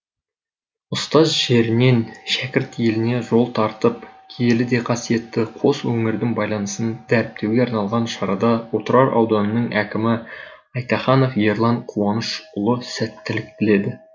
ұстаз жерінен шәкірт еліне жол тартып киелі де қасиетті қос өңірдің байланысын дәріптеуге арналған шарада отырар ауданының әкімі айтаханов ерлан қуанышұлы сәттілік тіледі